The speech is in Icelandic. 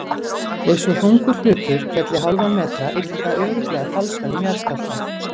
Ef svo þungur hlutur félli hálfan metra ylli það örugglega talsverðum jarðskjálfta.